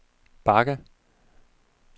bakke